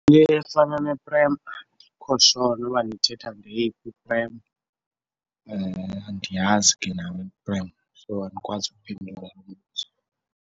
efana neprem, andikho sho noba nithetha ngeyiphi iprem. Andiyazi ke nam iprem so andikwazi ukuphendula lo mbuzo.